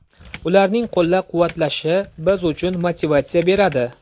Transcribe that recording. Ularning qo‘llab-quvvatlashi biz uchun motivatsiya beradi”.